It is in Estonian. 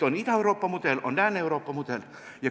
On Ida-Euroopa mudel ja on Lääne-Euroopa mudel.